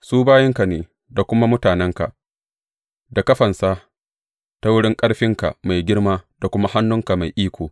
Su bayinka ne da kuma mutanenka da ka fansa ta wurin ƙarfinka mai girma da kuma hannunka mai iko.